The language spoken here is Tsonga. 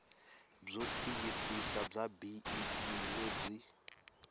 byo tiyisisa bya bee lebyi